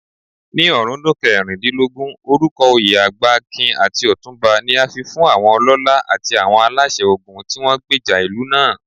Ní ọ̀rúndún kẹrìndínlógún, orúkọoyè Agbakin àti Otunba ni a fifún àwọn ọlọ́lá àti àwọn aláṣẹ ogun tíwọ́n gbèjà ìlú náà.